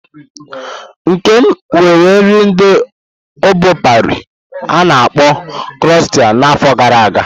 Nkem nwere nri ndi obo Pari a-na akpo kroisont na n'afọ gara aga.